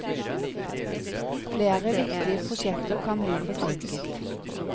Flere viktige prosjekter kan bli forsinket.